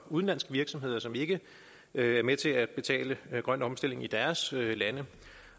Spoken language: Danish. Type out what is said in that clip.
udenlandske virksomheder som ikke er med til at betale grøn omstilling i deres lande